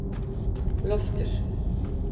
Loftur